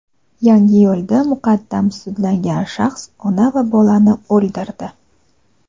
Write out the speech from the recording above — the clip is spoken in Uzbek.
Yangiyo‘lda muqaddam sudlangan shaxs ona va bolani o‘ldirdi.